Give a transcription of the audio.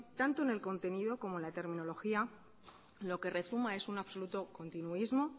tanto en el contenido como en la terminología lo que resuma es una absoluto continuismo